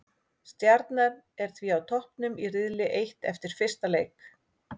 Stjarnan er því á toppnum í riðli eitt eftir fyrsta leik.